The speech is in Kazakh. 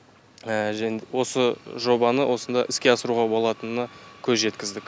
және осы жобаны осында іске асыруға болатынына көз жеткіздік